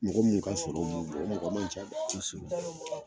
Mɔgɔ munnu ka sɔrɔ b'u bɔ, o mɔgɔ ma can dɛ, kosɛbɛ.